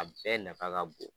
A bɛɛ nafa ka bon